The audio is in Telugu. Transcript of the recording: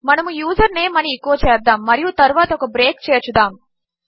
మనము యూజర్నేమ్ అని ఎచో చేద్దాముమరియుతరువాతఒకబ్రేక్చేర్చుదాము